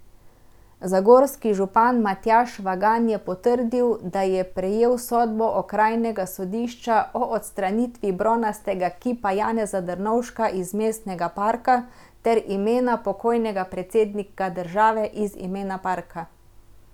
Zagorski župan Matjaž Švagan je potrdil, da je prejel sodbo okrajnega sodišča o odstranitvi bronastega kipa Janeza Drnovška iz mestnega parka ter imena pokojnega predsednika države iz imena parka.